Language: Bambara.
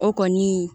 O kɔni